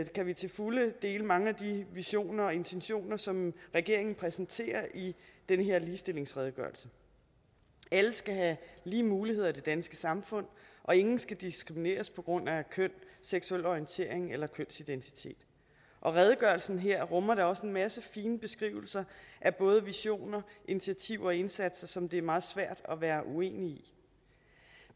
kan vi til fulde dele mange af de visioner og intentioner som regeringen præsenterer i den her ligestillingsredegørelse alle skal have lige muligheder i det danske samfund og ingen skal diskrimineres på grund af køn seksuel orientering eller kønsidentitet og redegørelsen her rummer da også en masse fine beskrivelser af både visioner initiativer og indsatser som det er meget svært at være uenig